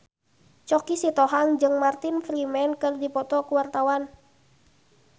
Choky Sitohang jeung Martin Freeman keur dipoto ku wartawan